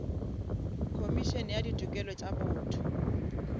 khomišene ya ditokelo tša botho